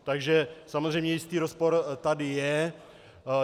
Takže samozřejmě jistý rozpor tady je.